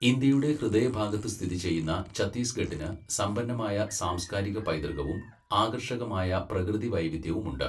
ഇന്ത്യയുടെ ഹൃദയഭാഗത്ത് സ്ഥിതി ചെയ്യുന്ന ഛത്തീസ്ഗഢിന് സമ്പന്നമായ സാംസ്കാരിക പൈതൃകവും ആകർഷകമായ പ്രകൃതി വൈവിധ്യവും ഉണ്ട്.